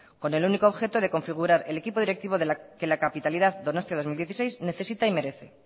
con el único objeto de configurar el equipo directivo que la capitalidad donostia dos mil dieciséis necesita y merece